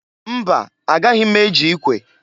Mba! Agaghị m eji ikwe.